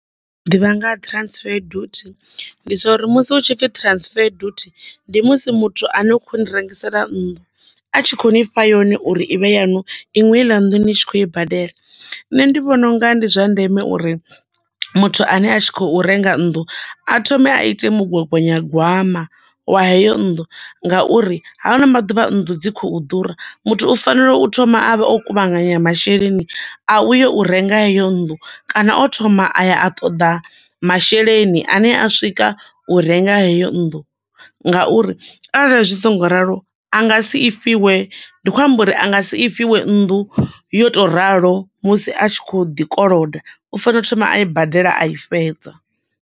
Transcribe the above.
Ḓivha nga ha transfer duty, ndi zwo uri musi hu tshi pfi transfer duty, ndi musi muthu ane khou rengisela nnḓu, a tshi khou ni fha yone uri ivhe yanu, iṅwi heiḽa nnḓu ni tshi khou i badela. Nṋe ndi vhona unga ndi zwa ndeme uri muthu ane a tshi khou renga nnḓu, a thome a ite mugwagwanyagwama wa heyo nnḓu nga uri hano maḓuvha nnḓu dzi khou ḓura, muthu u fanela u thoma a vha o kuvhanganya masheleni a u yi u renga heyo nnḓu, kana o thoma aya a ṱoḓa masheleni ane a swika u renga heyo nnḓu, nga uri arali zwi songo ralo, anga si ifhiwe, ndi khou amba uri a nga si ifhiwe nnḓu yo to ralo, musi a tshi khou ḓi koloda, u fanela u thoma a i badela a i fhedza.